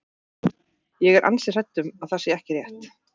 En ég er ansi hrædd um að það sé ekki rétt.